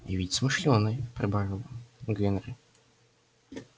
и ведь смышлёный прибавил генри